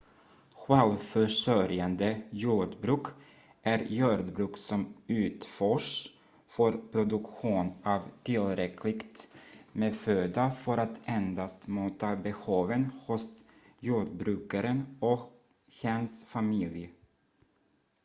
självförsörjande jordbruk är jordbruk som utförs för produktion av tillräckligt med föda för att endast möta behoven hos jordbrukaren och hens familj